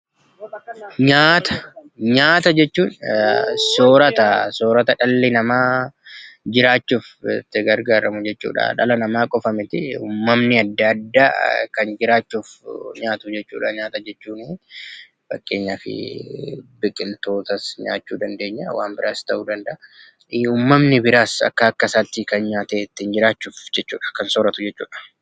Nyaata, nyaata jechuun soorata. Sooratni dhalli namaa jiraachuuf itti gargaaramu jechuudha. Dhala namaa qofa miti uummamni adda addaa kan jiraachuuf nyaatu jechuudha. Nyaata jechuun fakkeenyaafi biqiltootas nyaachuu dandeenya, waa biraas ta'uu danda'a uumamni biraas akka akkasaatti kan nyaatee ittiin jiraatu jechuudha. Kan sooratu jechuudha.